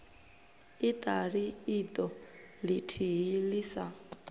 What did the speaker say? iṱali iṱo ḽithihi ḽi sa